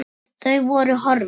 Þau voru horfin.